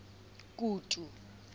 kutu